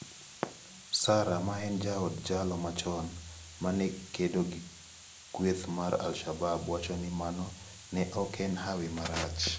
Sara ma en jaod jalo machon ma ne kedo gi kueth mar al-Shabab wacho ni mano ne ok en hawi marach.